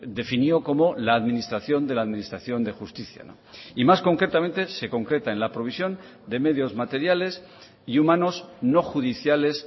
definió como la administración de la administración de justicia y más concretamente se concreta en la provisión de medios materiales y humanos no judiciales